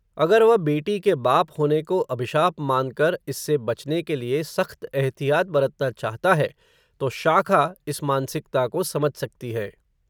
अगर वह बेटी के बाप होने को, अभिशाप मानकर, इससे बचने के लिये, सख्त एहतियात बरतना चाहता है, तो शाखा, इस मानसिकता को, समझ सकती है